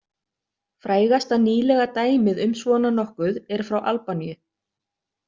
Frægasta nýlega dæmið um svona nokkuð er frá Albaníu.